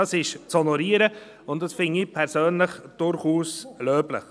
Dies ist zu honorieren, und das finde ich persönlich durchaus löblich.